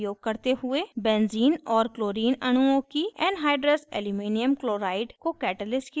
benzene और chlorine clcl अणुओं की anhydrous aluminum chloride alcl